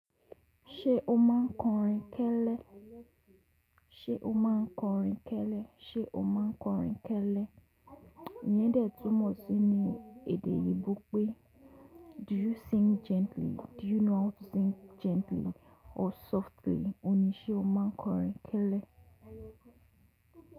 Ṣé o máa n kọrin kẹ́lẹ́? Ṣé o máa n kọrin kẹ́lẹ́? Ṣé o máa n kọrin kẹ́lẹ́? Iyèndẹ tumọ̀ sí ní èdè yí wipé “Do you sing gently?” “Do you know how to sing gently or softly?” Óhun ní í ṣe o máa n kọrin kẹ́lẹ́.